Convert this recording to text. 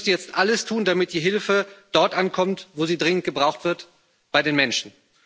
Wir müssen jetzt alles tun, damit die Hilfe dort ankommt, wo sie dringend gebraucht wird bei den Menschen.